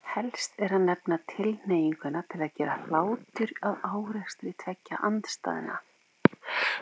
Helst er að nefna tilhneiginguna til að gera hlátur að árekstri tveggja andstæðna.